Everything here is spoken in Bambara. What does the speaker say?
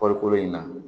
Kɔɔrikoloko in na